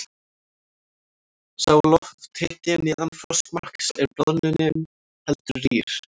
Sé lofthiti neðan frostmarks er bráðnunin heldur rýr.